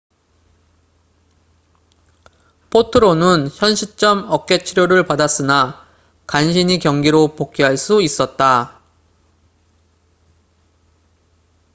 포트로는 현시점 어깨 치료를 받았으나 간신히 경기로 복귀할 수 있었다